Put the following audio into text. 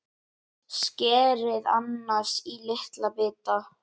Skerið ananas í litla bita.